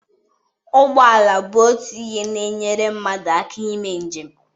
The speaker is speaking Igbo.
Ụgbọ ala bụ otu ihe na-enyere mmadụ aka ime njem.